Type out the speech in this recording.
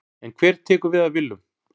En hver tekur við af Willum?